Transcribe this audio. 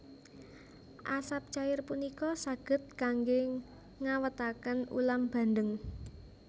Asap cair punika saged kanggé ngawétaken ulam bandeng